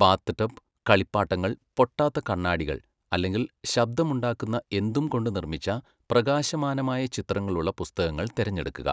Baat tub കളിപ്പാട്ടങ്ങൾ, പൊട്ടാത്ത കണ്ണാടികൾ അല്ലെങ്കിൽ ശബ്ദമുണ്ടാക്കുന്ന എന്തും കൊണ്ട് നിർമ്മിച്ച പ്രകാശമാനമായ ചിത്രങ്ങളുള്ള പുസ്തകങ്ങൾ തിരഞ്ഞെടുക്കുക.